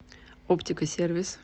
оптика сервис